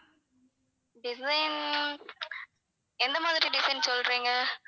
design எந்த மாதிரி design சொல்றீங்க?